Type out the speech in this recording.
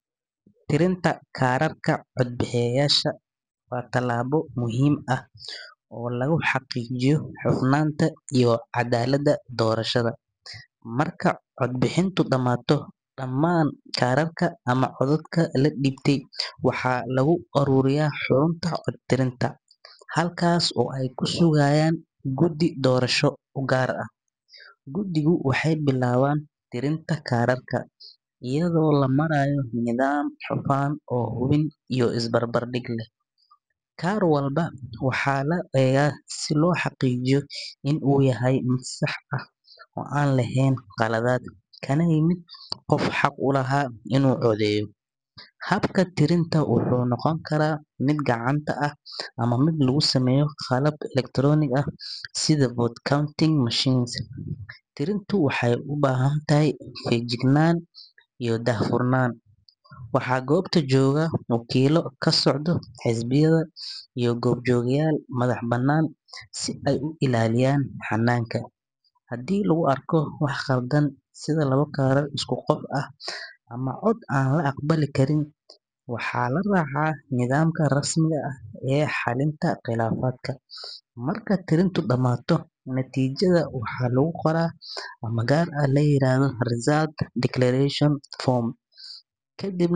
Tirinta kaararka codbixiyeyaasha waa tallaabo muhiim ah oo lagu xaqiijiyo hufnaanta iyo caddaaladda doorashada. Marka codbixintu dhammaato, dhammaan kaararka ama codadka la dhiibtay waxaa lagu ururiyaa xarunta cod tirinta, halkaas oo ay ku sugayaan guddi doorasho oo gaar ah. Guddigu waxay bilaabaan tirinta kaararka iyadoo la marayo nidaam hufan oo hubin iyo isbarbardhig leh. Kaar walba waxaa la eegaa si loo xaqiijiyo in uu yahay mid sax ah oo aan lahayn khaladaad, kana yimid qof xaq u lahaa in uu codeeyo. Habka tirinta wuxuu noqon karaa mid gacanta ah ama mid lagu sameeyo qalab elektaroonik ah sida vote counting machines. Tirintu waxay u baahan tahay feejignaan iyo daahfurnaan. Waxaa goobta jooga wakiillo ka socda xisbiyada iyo goobjoogeyaal madax bannaan si ay u ilaaliyaan hannaanka. Haddii lagu arko wax khaldan sida labo kaarar oo isku qof ah ama cod aan la aqbali karin, waxaa la raacaa nidaamka rasmiga ah ee xalinta khilaafaadka. Marka tirintu dhammaato, natiijada waxaa lagu qoraa foom gaar ah oo la yiraahdo results declaration form, kadibna.